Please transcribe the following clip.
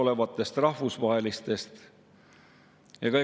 Seetõttu on opositsioonisaadikud väga selgelt oma seisukohti väljendanud.